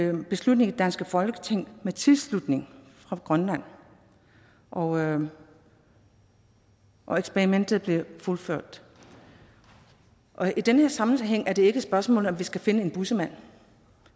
en beslutning i det danske folketing med tilslutning fra grønland og og eksperimentet blev fuldført i den her sammenhæng er det ikke et spørgsmål om at vi skal finde en bussemand